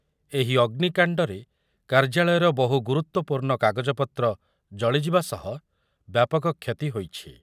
ଏହି ଅଗ୍ନିକାଣ୍ଡରେ କାର୍ଯ୍ୟାଳୟର ବହୁ ଗୁରୁତ୍ୱପୂର୍ଣ୍ଣ କାଗଜପତ୍ର ଜଳିଯିବା ସହ ବ୍ୟାପକ କ୍ଷତି ହୋଇଛି ।